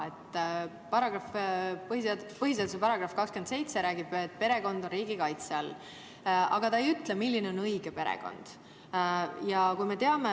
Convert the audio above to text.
Põhiseaduse § 27 räägib, et perekond on riigi kaitse all, aga ta ei ütle, milline on õige perekond.